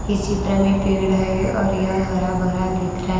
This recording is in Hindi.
इस चित्र में पेड़ है और यह हरा भरा दिख रहा है।